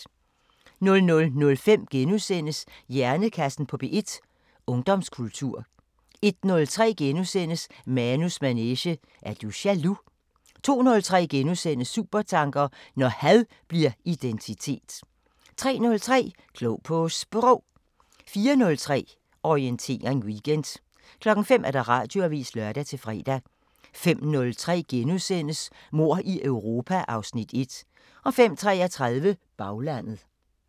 00:05: Hjernekassen på P1: Ungdomskultur * 01:03: Manus manege: Er du jaloux? * 02:03: Supertanker: Når had bliver identitet * 03:03: Klog på Sprog 04:03: Orientering Weekend 05:00: Radioavisen (lør-fre) 05:03: Mord i Europa (Afs. 1)* 05:33: Baglandet